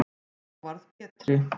Þá varð Pétri